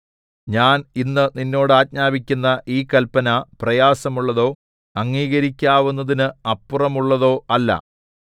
ഞാൻ ഇന്ന് നിന്നോട് ആജ്ഞാപിക്കുന്ന ഈ കല്പന പ്രായസമുള്ളതോ അംഗീകരിക്കാവുന്നതിന് അപ്പുറമോ ഉള്ളത് അല്ല